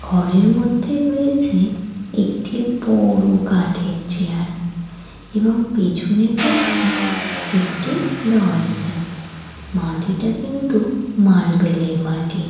ঘরের মধ্যে রয়েছেএকটি বড়ো কাঠের চেয়ার এবং পেছনে রয়েছেএকটি দরজামাটিটা কিন্তু মার্বেল এর মাটি।